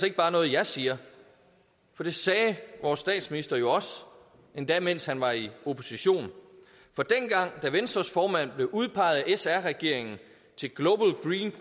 ikke bare noget jeg siger for det sagde vores statsminister jo også endda mens han var i opposition for dengang da venstres formand blev udpeget af sr regeringen